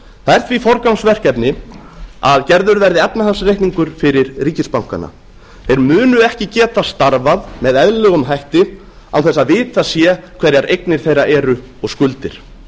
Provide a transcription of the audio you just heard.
það er því forgangsverkefni að gerður verði efnahagsreikningur fyrir ríkisbankana þeir munu ekki geta starfað með eðlilegum hætti án þess að vitað sé hverjar eignir þeirra eru og skuldir